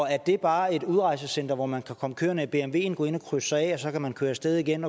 er det bare et udrejsecentre hvor man kan komme kørende i bmwen gå ind og krydse sig af og så kan man køre afsted igen